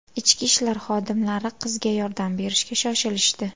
Ichki ishlar xodimlari qizga yordam berishga shoshilishdi.